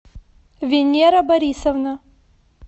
венера борисовна